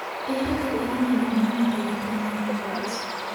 Ere kaka inyalo nyuol ng'ato gi tuo mar Coats?